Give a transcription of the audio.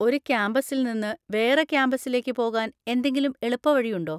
ഒരു ക്യാമ്പസിൽനിന്ന് വേറെ ക്യാമ്പസിലേക്ക് പോകാൻ എന്തെങ്കിലും എളുപ്പവഴി ഉണ്ടോ?